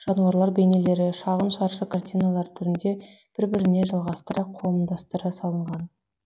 жануарлар бейнелері шағын шаршы картиналар түрінде бір біріне жалғастыра қомдастыра салынған